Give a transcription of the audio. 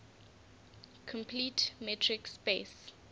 complete metric space